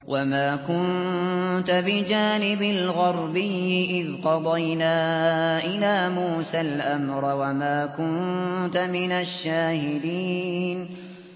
وَمَا كُنتَ بِجَانِبِ الْغَرْبِيِّ إِذْ قَضَيْنَا إِلَىٰ مُوسَى الْأَمْرَ وَمَا كُنتَ مِنَ الشَّاهِدِينَ